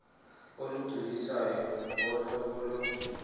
olugculisayo ngohlobo lo